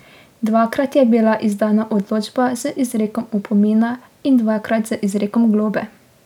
Dvakrat je bila izdana odločba z izrekom opomina in dvakrat z izrekom globe.